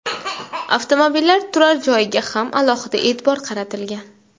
Avtomobillar turar joyiga ham alohida e’tibor qaratilgan.